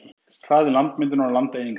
Hraði landmyndunar og landeyðingar.